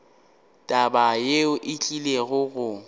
taba yeo e tlile go